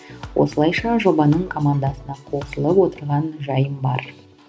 осылайша жобаның командасына қосылып отырған жайым бар